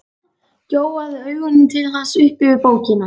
Gjóaði augunum til hans upp yfir bókina.